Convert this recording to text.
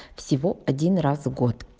всего один раз в год